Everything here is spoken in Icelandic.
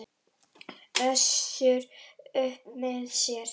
Össur upp með sér.